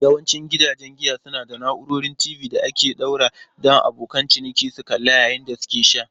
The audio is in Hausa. Yawancin gidajen giya suna da na'urorin TV da aka ɗora don abokan ciniki suna kallo yayin da suke sha.